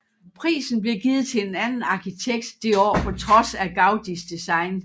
Prisen blev givet til en anden arkitekt det år på trods af Gaudís design